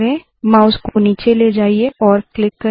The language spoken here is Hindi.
माउस को नीचे ले जाइए और क्लिक करे